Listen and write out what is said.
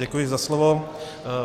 Děkuji za slovo.